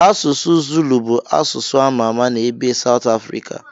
Asụsụ Zulu bụ asụsụ a ma-ama na ebe Saut Afrika.